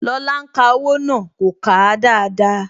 Lóla ń ka owó náà. kò kà á dáadáa